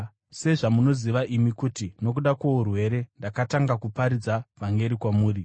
Sezvamunoziva imi, kuti nokuda kwourwere ndakatanga kuparidza vhangeri kwamuri.